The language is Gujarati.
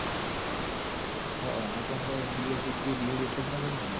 હમ ન કે અમર Bed કીધું તીયે Bed એટલ ના કર્યું ઇયાર